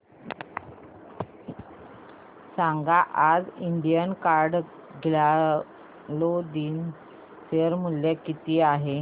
सांगा आज Indian card clothing चे शेअर मूल्य किती आहे